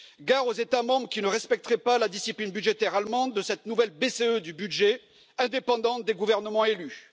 Gare aux États membres qui ne respecteraient pas la discipline budgétaire allemande de cette nouvelle BCE du budget, indépendante des gouvernements élus.